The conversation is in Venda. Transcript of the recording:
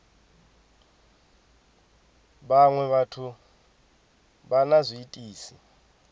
vhaṅwe vhathu vha na zwiitisi